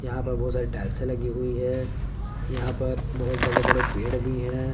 यहां पर बहुत सारी टाइलसें लगी हुई हैं यहां पर बहुत बड़े बड़े पेड़ भी हैं।